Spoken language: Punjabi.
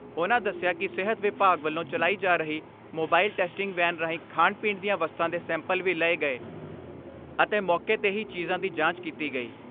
ਉਨ੍ਹਾਂ ਦਸਿਆ ਕਿ ਸਿਹਤ ਵਿਭਾਗ ਵੱਲੋਂ ਚਲਾਈ ਜਾ ਰਹੀ ਮੋਬਾਈਲ ਟੈਸਟਿੰਗ ਵੈਨ ਰਾਹੀਂ ਖਾਣ ਪੀਣ ਦੀਆਂ ਵਸਤਾਂ ਦੇ ਸੈਂਪਲ ਵੀ ਲਏ ਗਏ ਅਤੇ ਮੌਕੇ 'ਤੇ ਹੀ ਚੀਜ਼ਾਂ ਦੀ ਜਾਂਚ ਕੀਤੀ ਗਈ।